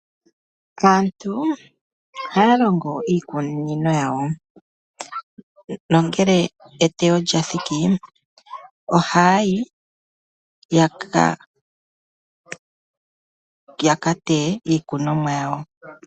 Aantu ohaya longo iikuninino yawo, nongele etewo lyathiki, ohaayi yaka teye iikunomwa yawo.